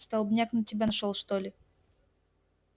столбняк на тебя нашёл что ли